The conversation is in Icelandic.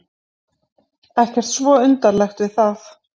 Ekkert svo undarlegt við það.